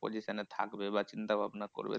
Position এ থাকবে বা চিন্তাভাবনা করবে তো